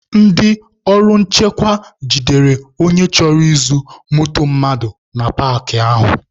Ndị ọrụ nchekwa jidere onye chọrọ izu moto mmadụ na paakị ahụ